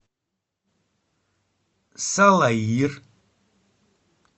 салаир